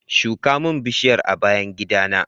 Shuka min bishiyar a bayan gidana